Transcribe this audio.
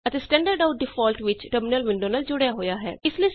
ਅਤੇ standard out default ਵਿੱਚ terminal window ਨਾਲ ਜੁੜਿਆ ਹੈ